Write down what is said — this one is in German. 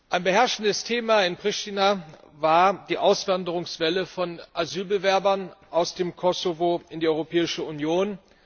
Ein beherrschendes Thema in Priština war die Auswanderungswelle von Asylbewerbern aus dem Kosovo in die Europäische Union.